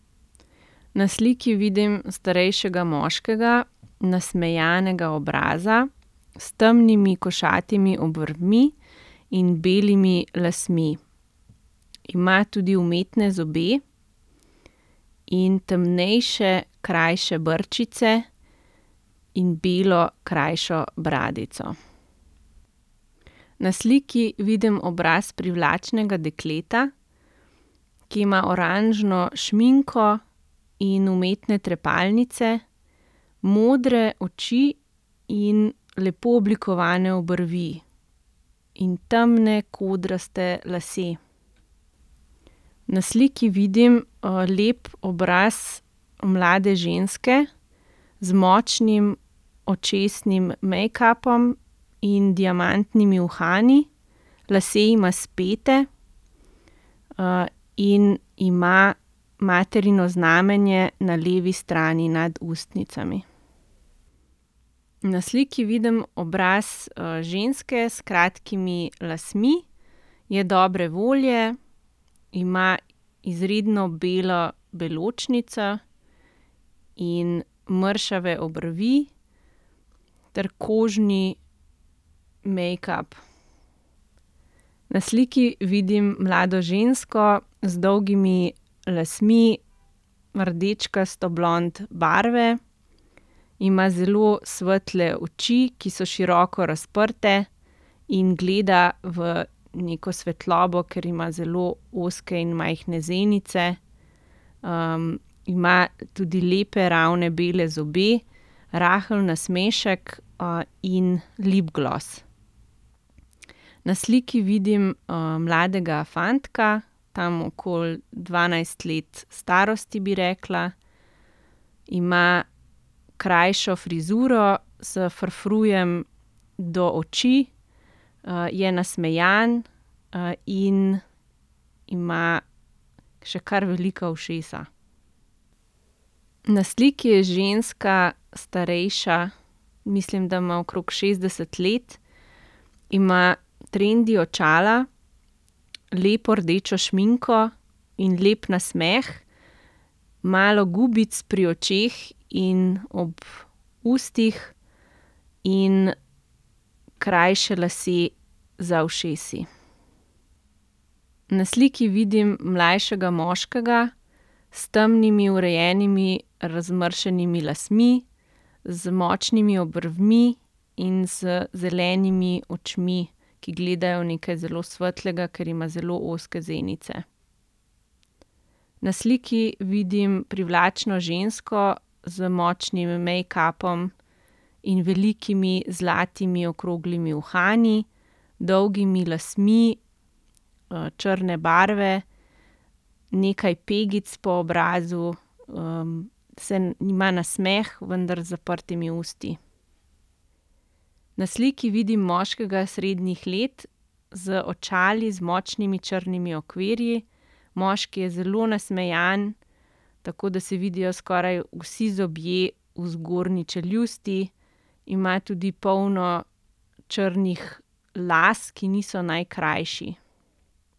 Na sliki vidim starejšega moškega nasmejanega obraza s temnimi, košatimi obrvmi in belimi lasmi. Ima tudi umetne zobe in temnejše krajše brčice in belo krajšo bradico. Na sliki vidim obraz privlačnega dekleta, ki ima oranžno šminko in umetne trepalnice, modre oči in lepo oblikovane obrvi. In temne, kodraste lase. Na sliki vidim, lep obraz mlade ženske z močnim očesnim mejkapom in diamantnimi uhani. Lase ima spete, in ima materino znamenje na levi strani nad ustnicami. Na sliki vidim obraz, ženske s kratkimi lasmi. Je dobre volje, ima izredno belo beločnico in mršave obrvi ter kožni mejkap. Na sliki vidim mlado žensko z dolgimi lasmi rdečkasto blond barve. Ima zelo svetle oči, ki so široko razprte, in gleda v neko svetlobo, ker ima zelo ozke in majhne zenice. ima tudi lepe, ravne bele zobe, rahel nasmešek, in lep glas. Na sliki vidim, mladega fantka, tam okoli dvanajst let starosti, bi rekla. Ima krajšo frizuro s frufrujem do oči. je nasmejan, in ima še kar velika ušesa. Na sliki je ženska, starejša. Mislim, da ima okrog šestdeset let. Ima trendi očala, lepo rdečo šminko in lep nasmeh, malo gubic pri očeh in ob ustih in krajše lase za ušesi. Na sliki vidim mlajšega moškega s temnimi, urejenimi, razmršenimi lasmi, z močnimi obrvmi in z zelenimi očmi, ki gledajo v nekaj zelo svetlega, ker ima zelo ozke zenice. Na sliki vidim privlačno žensko z močnim mejkapom in velikimi zlatimi okroglimi uhani, dolgimi lasmi, črne barve, nekaj pegic po obrazu, ima nasmeh, vendar z zaprtimi usti. Na sliki vidim moškega srednjih let z očali z močnimi črnimi okvirji. Moški je zelo nasmejan, tako da se vidijo skoraj vsi zobje v zgornji čeljusti. Ima tudi polno črnih las, ki niso najkrajši.